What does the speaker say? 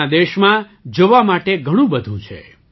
આપણા દેશમાં જોવા માટે ઘણું બધું છે